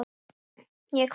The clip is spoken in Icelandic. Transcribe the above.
Ég hváði.